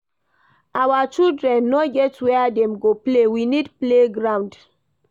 Our children no get where dem go play, we need playground.